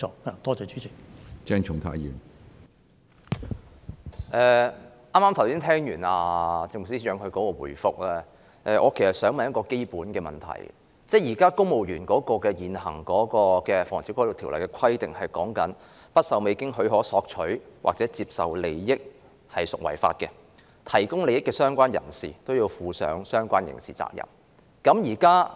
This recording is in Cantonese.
剛才聽了政務司司長的答覆，我其實想提出一個基本問題，就是公務員根據現行的《防止賄賂條例》規定，未經許可而索取或接受任何利益，即屬犯罪；提供利益的相關人士也要負上相關的刑事責任。